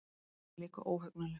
En hún er líka óhugnanleg.